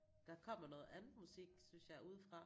Der kommer noget andet musik synes jeg udefra